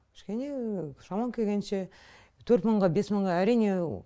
кішкене шамам келгенше төрт мыңға бес мыңға әрине